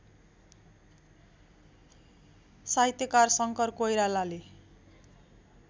साहित्यकार शङ्कर कोइरालाले